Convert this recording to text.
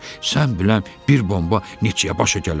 Sən biləm bir bomba neçəyə başa gələr?